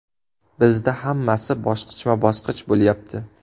Bizda hammasi bosqichma-bosqich bo‘lyapti.